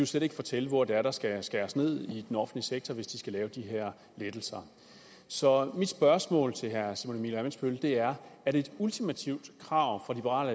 slet ikke fortælle hvor det er der skal skæres ned i den offentlige sektor hvis de skal lave de her lettelser så mit spørgsmål til herre simon emil ammitzbøll er er det et ultimativt krav fra liberal